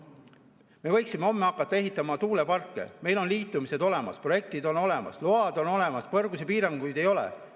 Me võiksime homme hakata ehitama tuuleparke, meil on liitumised olemas, projektid on olemas, load on olemas, kõrgusepiiranguid ei ole.